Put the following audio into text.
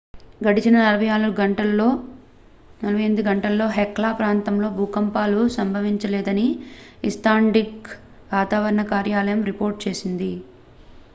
గడిచిన 48 గంటలలో hekla ప్రాంతంలో భూకంపాలు సంభవించలేదని ఐస్లాండిక్ వాతావరణ కార్యాలయం రిపోర్ట్ చేసింది